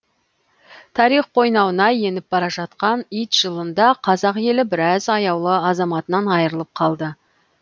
тарих қойнауына еніп бара жатқан ит жылында қазақ елі біраз аяулы азаматынан айырылып қалды